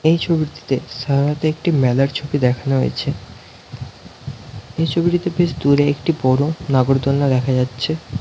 এই ছবিটিতে সাধারনত একটি মেলার ছবি দেখানো হয়েছে এই ছবিটিতে বেশ দূরে একটি বড়ো নাগরদোল্না দেখা যাচ্ছে --